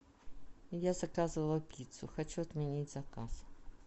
я заказывала пиццу хочу отменить заказ